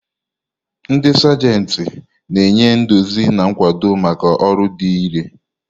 Ndị Sajenti na-enye nduzi na nkwado maka ọrụ dị irè.